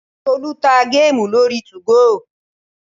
Tolú ta géèmù lórí 2go